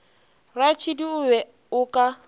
ratšhidi o be o ka